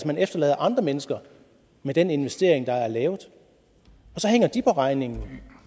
man efterlader andre mennesker med den investering der er lavet og så hænger de på regningen